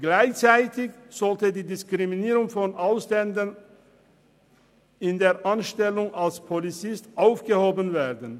Gleichzeitig sollte die Diskriminierung von Ausländern in der Anstellung als Polizist aufgehoben werden.